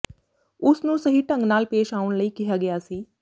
ਉਸ ਨੂੰ ਸਹੀ ਢੰਗ ਨਾਲ ਪੇਸ਼ ਆਉਣ ਲਈ ਕਿਹਾ ਗਿਆ ਸੀ